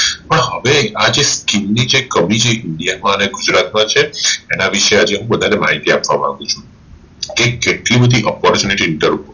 પણ આ હવે ચીન ની જે કવિ જે india માં અને ગુજરાત માં છે અને વિષે આજે હું બધા ને માહિતી આપવા માંગુ છું કે કેટલી બધી Opportunity inter